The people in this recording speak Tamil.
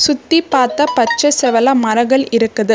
சுத்தி பாத்தா பச்ச செவல மரகள் இருக்குது.